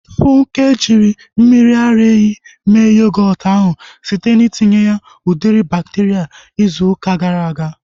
Funke ji mmiri ara ehi mee yogọọtu ahu site na itinye udiri bakteria izu ụka gara aga